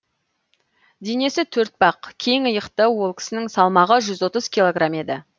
денесі төртбақ кең иықты ол кісінің салмағы жүз отыз килограмм еді